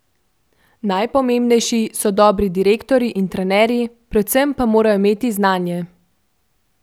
Najpomembnejši so dobri direktorji in trenerji, predvsem pa morajo imeti znanje.